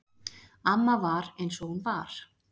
Amma var eins og hún var.